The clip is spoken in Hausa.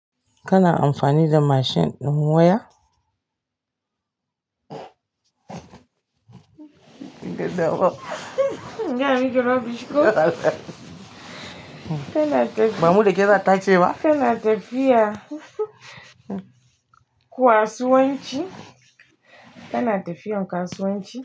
Kana amfani da mashin din waya? Gidan ruwa. Nga miji rubbish ko? Kana tafiya- ba mu dake sata ce ba kana tafiya kasu wanci, kana tafiya in kasu wanci.